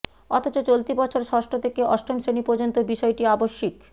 অথচ চলতি বছর ষষ্ঠ থেকে অষ্টম শ্রেণী পর্যন্ত বিষয়টি আবশ্যিক